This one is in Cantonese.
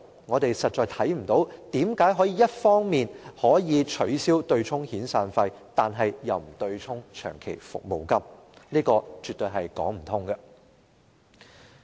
我們實在看不到有任何理由可以一方面取消對沖遣散費，但卻不取消對沖長期服務金，這樣絕對說不通。